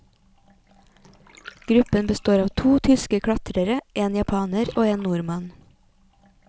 Gruppen består av to tyske klatrere, en japaner og en nordmann.